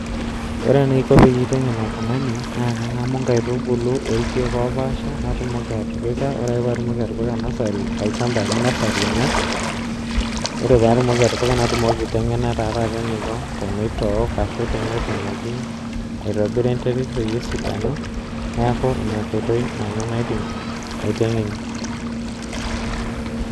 Ore enaiko peyie aitengen oltungani naa kangamu nkaitubulu orkiek opasha natumoki atipika ore ake patumoki atipika nursery olchamba , ore paidip atipika natumoki taaa taata aitengena eniko tenitook ashu tenetumoki aitobira enterit peyie esidanu neku ina enkoitoi naidim aitengenie.